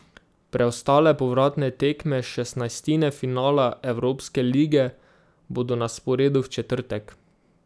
Preostale povratne tekme šestnajstine finala evropske lige bodo na sporedu v četrtek.